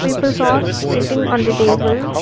peoples are sitting on the table.